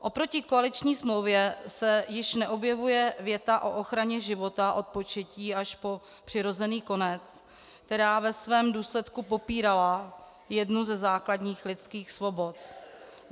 Oproti koaliční smlouvě se již neobjevuje věta o ochraně života od početí až po přirozený konec, která ve svém důsledku popírala jednu ze základních lidských svobod.